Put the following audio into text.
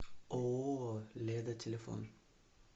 ооо леда телефон